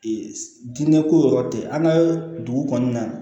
diinɛ ko yɔrɔ tɛ an ka dugu kɔnɔna na